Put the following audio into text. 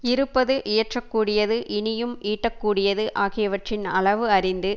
இருப்பது இயற்றக்கூடியது இனியும் ஈட்டக்கூடியது ஆகியவற்றின் அளவு அறிந்து